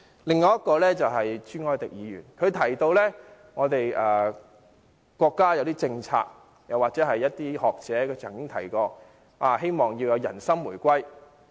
另外，朱凱廸議員提到國家有一些政策，又或有些學者曾提到，希望人心回歸。